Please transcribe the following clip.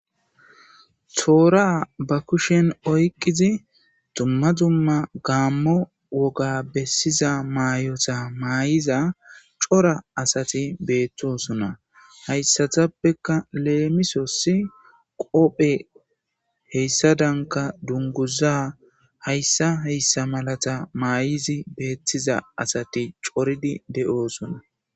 toora ba kushen oyqizi dumma dzumma gaammo woga bessiza maayota maay7iza cora asati beettosonna hayssatappeka leemisosi qophe heyssa danka dunguza hayssa heyssa malata maay7izi beettiza asati coridi de7oosona